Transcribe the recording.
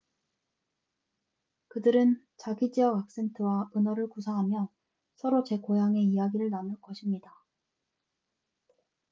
그들은 자기 지역 악센트와 은어를 구사하며 서로 제 고향의 이야기를 나눌 것입니다